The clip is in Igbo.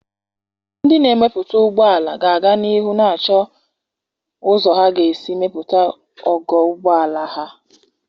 Ndị na-emepụta ụgbọ ala ga-aga n'ihu na-achọ ụzọ ha ga-esi melite ogo ụgbọ ala ha.